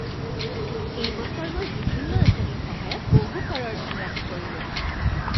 এই বছৰ মই বিভিন্ন আঁচনিৰ সহায়ত বহু কৰৰ ধন ৰাহি কৰিলোঁ।